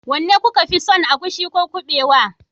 wanne kuka fi son agushi ko kuɓewa